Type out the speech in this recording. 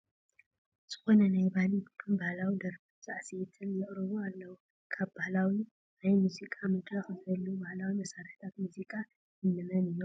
ዝኾኑ ናይ ባህሊ ቡድን ባህላዊ ደርፍን ሳዕስዒትን የቕርቡ ኣለዉ፡፡ ኣብ ባህላዊ ናይ ሙዚቃ መድረኽ ዝህልዉ ባህላዊ መሳርሕታት ሙዚቃ እንመን እዮም?